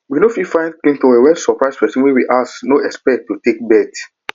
we no fit find clean towel when surprise person wey we no expect ask to take bath